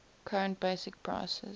current basic prices